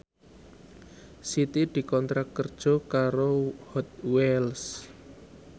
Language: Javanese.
Siti dikontrak kerja karo Hot Wheels